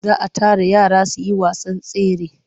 Za a tara yara su yi wasan tsere.